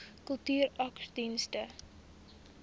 kultuursakedienste